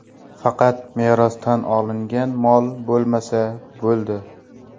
Faqat merosdan olingan mol bo‘lmasa bo‘ldi.